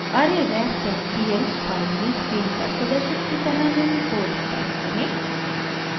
arrayref dot pl file में screen पर प्रदर्शित की तरह निम्न कोड टाइप करें